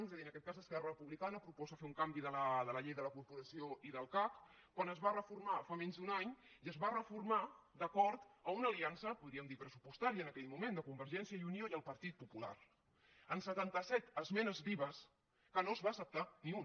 és a dir en aquest cas esquerra republicana proposa fer un canvi de la llei de la corporació i del cac quan es va reformar fa menys d’un any i es va reformar d’acord amb una aliança podríem dir pressupostària en aquell moment de convergència i unió i el partit popular amb setanta set esmenes vives que no se’n va acceptar ni una